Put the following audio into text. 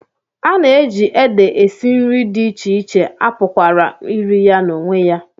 A na-eji ede esi nri dị iche iche, a pụkwara iri ya n'onwe ya.